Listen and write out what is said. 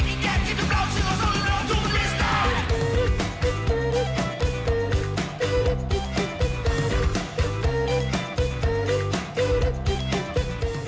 við